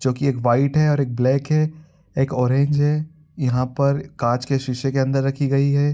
जो कि एक बाईट है और एक ब्लैक है एक ऑरेंज है। यहाँ पर काँच के शीशे के अंदर रखी गयी है।